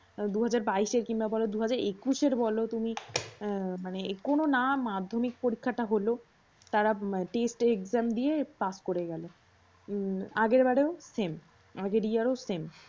দুহাজার বাইশে কিংবা দু হাজার একুশের বলও তুমি মানে কোনও না মাধ্যমিক পরীক্ষাটা হল তারা test exam দিয়ে পাশ করে গেলো। আগের বারেও same আগের year same